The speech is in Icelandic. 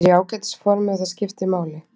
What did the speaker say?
Ég er í ágætis formi og það skiptir máli.